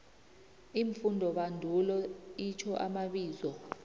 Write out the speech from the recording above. iimfundobandulo itjho amabizo